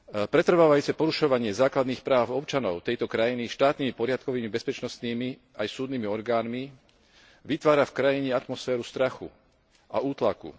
Pretrvávajúce porušovanie základných práv občanov tejto krajiny štátnymi, poriadkovými, bezpečnostnými aj súdnymi orgánmi vytvára v krajine atmosféru strachu a útlaku.